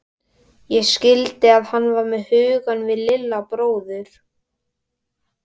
Ég skildi að hann var með hugann við Lilla bróður.